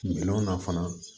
Minɛnw na fana